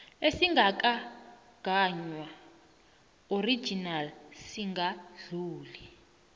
esingakagaywa original singadluli